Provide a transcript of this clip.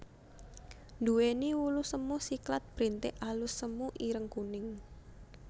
Nduwéni wulu semu siklat brintik alus semu ireng kuning